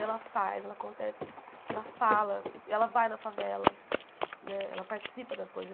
Ela faz, ela acontece, ela fala, ela vai na favela né, ela participa das coisas.